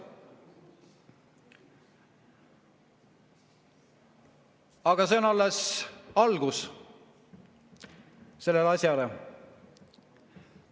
Aga see on alles algus sellele asjale.